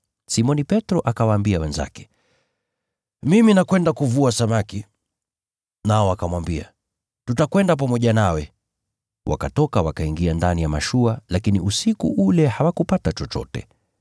Simoni Petro akawaambia wenzake, “Mimi naenda kuvua samaki.” Nao wakamwambia, “Tutakwenda pamoja nawe.” Wakatoka, wakaingia ndani ya mashua, lakini usiku ule hawakupata chochote.